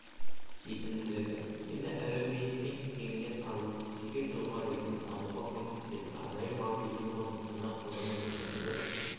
жетімділігі енді әлеуметпен кеңінен араласып жеке тұлға ретінде дамуға көмектесетін арнайы мобильді қосымшаны қолдану мүмкіндігі